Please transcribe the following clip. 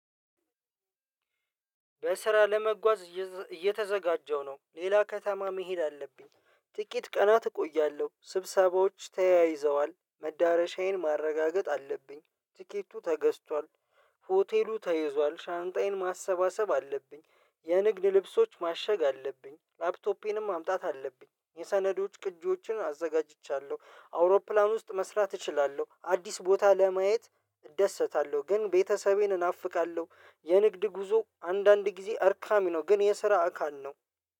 በስራ ለመጓዝ እየተዘጋጀው ነው ሌላ ከተማ መሄድ አለብኝ ጥቂት ቀናት እቆያለሁ ስብሰባዎች ተያይዘዋል መዳረሻዬን ማረጋገጥ አለብኝ ትኬቱ ተገዝቷል። ሆቴሉ ተይዟል ሻንጣዬን ማሰባሰብ አለብኝ የንግድ ልብሶች ማሸግ አለብኝ ላፕቶፔንም ማምጣት አለብኝ የሰነዶች ቅጂዎችን አዘጋጅቻለሁ አውሮፕላን ውስጥ መስራት እችላለሁ አዲስ ቦታ ለማየት እደሰታለሁ። ግን ቤተሰቤን እናፍቃለሁ። የንግድ ጉዞ አንዳንድ ጊዜ አድካሚ ነው። ግን የስራ አካል ነው።